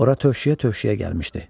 Ora tövşüyə-tövşüyə gəlmişdi.